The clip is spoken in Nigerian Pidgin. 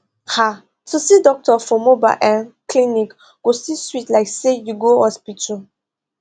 ah to see doctor for mobile uhm clinic still sweet like say you go hospital